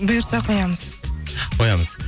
бұйырса қоямыз қоямыз